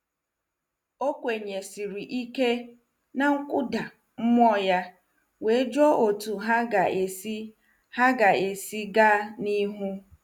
Ọ kwenyesiri ike na nkụda mmụọ ya wee jụọ otu ha ga-esi ha ga-esi gaa n'ihu.